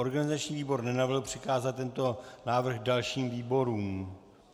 Organizační výbor nenavrhl přikázat tento návrh dalším výborům.